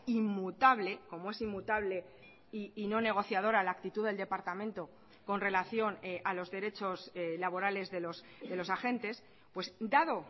inmutable como es inmutable y no negociadora la actitud del departamento con relación a los derechos laborales de los agentes dado